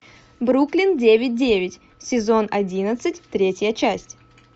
бруклин девять девять сезон одиннадцать третья часть